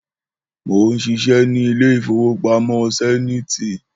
Mó ń ṣiṣẹ́ ní ilé ìfowópamọ́ Sẹ́niiti